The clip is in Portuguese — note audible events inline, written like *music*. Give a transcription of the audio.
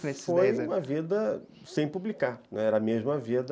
*unintelligible* Foi uma vida sem publicar, né, era a mesma vida...